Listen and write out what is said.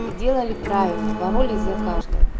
сделали правильно боролись за каждого